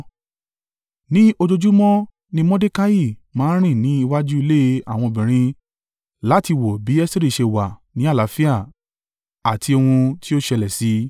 Ní ojoojúmọ́ ni Mordekai máa ń rìn ní iwájú ilé àwọn obìnrin láti wo bí Esteri ṣe wà ní àlàáfíà àti ohun tí ó ṣẹlẹ̀ sí i.